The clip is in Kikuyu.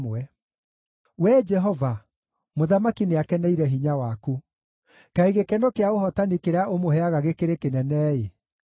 Wee Jehova, mũthamaki nĩakeneire hinya waku. Kaĩ gĩkeno kĩa ũhootani kĩrĩa ũmũheaga gĩkĩrĩ kĩnene-ĩ!